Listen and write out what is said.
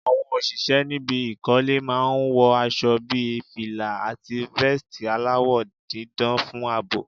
Àwọn òṣìṣẹ́ níbi ìkọ́lé máa ń wọ aṣo bí fìlà, àti vẹ́ẹ̀stì aláwọ̀ dídán fún àbò.